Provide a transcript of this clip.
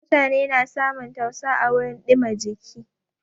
Mutane na samun tausa à wurin dìma jiki.